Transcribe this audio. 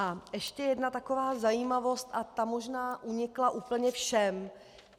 A ještě jedna taková zajímavost a ta možná unikla úplně všem!